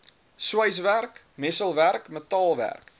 sweiswerk messelwerk metaalwerk